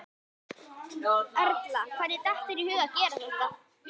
Erla: Og hvernig datt þér í hug að gera þetta?